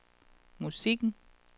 musikken